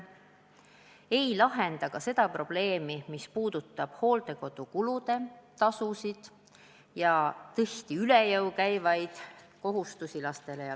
See ei lahenda probleemi, mis puudutab hooldekodutasusid, lastele ja lastelastele tihti üle jõu käivaid kohustusi.